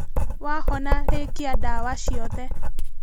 Wahona rĩkia ndawa ciothe